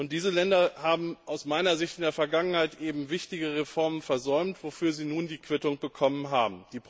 Diese Länder haben aus meiner Sicht in der Vergangenheit wichtige Reformen versäumt, wofür sie nun die Quittung bekommen haben.